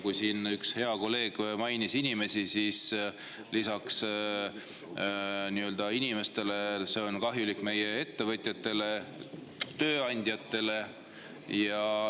Kui siin üks hea kolleeg mainis inimesi, siis ütlen, et lisaks inimestele on see kahjulik ka meie ettevõtjatele, tööandjatele.